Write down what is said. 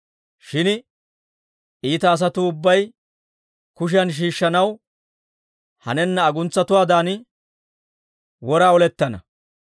Shin iita asatuu ubbay kushiyan shiishshanaw hanenna aguntsatuwaadan wora olettana.